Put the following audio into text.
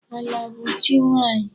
Ala bụ chi nwaanyị.